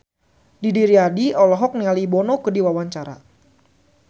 Didi Riyadi olohok ningali Bono keur diwawancara